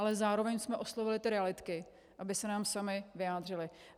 Ale zároveň jsme oslovili ty realitky, aby se nám samy vyjádřily.